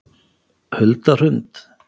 Hulda Hrund